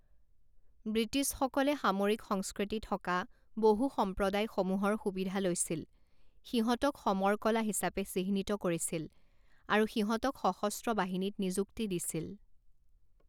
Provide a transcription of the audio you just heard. ব্ৰিটিছসকলে সামৰিক সংস্কৃতি থকা বহু সম্প্ৰদায়সমূহৰ সুবিধা লৈছিল, সিহঁতক 'সমৰ কলা' হিচাপে চিহ্নিত কৰিছিল আৰু সিহঁতক সশস্ত্ৰ বাহিনীত নিযুক্তি দিছিল।